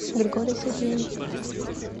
григорий сергеевич